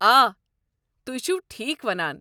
آ، تہۍ، چھِو ٹھیٖکھ ونان۔